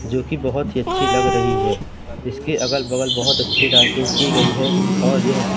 जो कि बहुत ही अच्छी लग रही है इसके अगल बगल बहुत अच्छी लाइटिंग की गई है और यह--